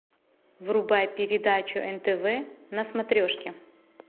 врубай передачу нтв на смотрешке